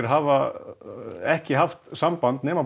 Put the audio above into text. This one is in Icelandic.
hafa ekki haft samband nema